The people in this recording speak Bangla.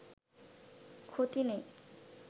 ক্ষতি নেই